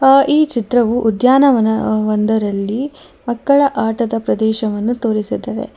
ಆ ಈ ಚಿತ್ರವು ಉದ್ಯಾನವನವೊಂದರಲ್ಲಿ ಮಕ್ಕಳದ ಆಟದ ಪ್ರದೇಶವನ್ನು ತೋರಿಸುತ್ತದೆ.